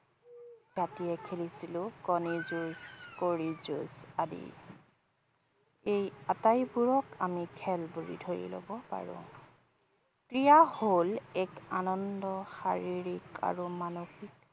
যেতিয়া খেলিছিলো কণীৰ যুঁজ, কৰিৰ যুঁজ আদি। এই আটাইবোৰক আমি খেল বুলি ধৰি লব পাৰোঁ । ক্ৰীড়া হল এক আনন্দ শাৰীৰিক আৰু মানসীক